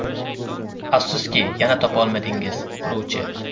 Afsuski, yana topa olmadingiz: quruvchi!